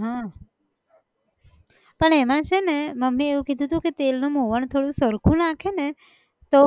હા, પણ એમાં છે ને મમ્મી એ એવું કીધું હતું કે તેલ નું મોવણ થોડું સરખું નાખે ને, તો,